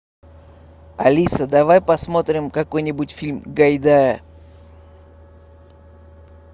алиса давай посмотрим какой нибудь фильм гайдая